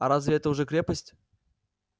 а разве это уже крепость